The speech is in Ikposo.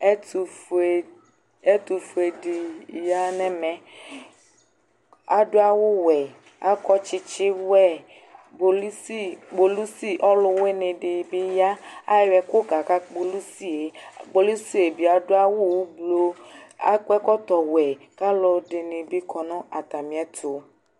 Ɛtʋfue, ɛtʋfue dɩ ya nʋ ɛmɛ Adʋ awʋwɛ, akɔ tsɩtsɩwɛ Bolisi, kpolisi ɔlʋwɩnɩ dɩ bɩ ya Ayɔ ɛkʋ kaka kpolusi yɛ Kpolusi yɛ bɩ adʋ awʋ oblo, akɔ ɛkɔtɔwɛ kʋ alʋdɩnɩ bɩ kɔ nʋ atamɩɛtʋ